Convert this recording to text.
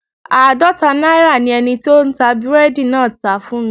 Aadọta naira ni eniti o n ta búredì naa tá fun mi